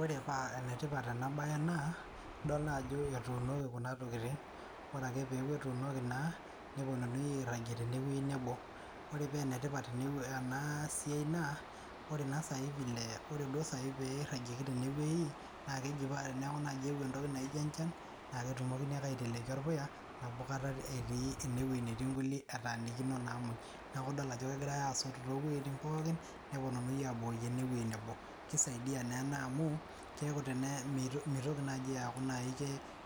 Ore paa enetipat enabae naa, idol naajo etuunoki kuna tokiting. Ore ake peku etuunoki naa, neponunui airragie tenewueji nebo. Ore penetipat enasiai naa, ore na sai vile ore duo sai pee irragieki tenewei, na keji pa teneeku nai eewuo entoki naijo enchan, na ketumokini ake aiteleki orpuya, nabo kata etii enewei netii nkulie etaanikino naa moj. Neku idol ajo kegirai asot towueiting pookin, neponunui abukoki enewoi nebo. Kisaidia naa ena amu, keeku tene mitoki nai aku